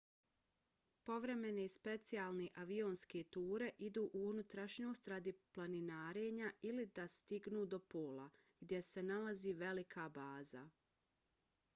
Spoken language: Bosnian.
povremene specijalne avionske ture idu u unutrašnjost radi planinarenja ili da stignu do pola gdje se nalazi velika baza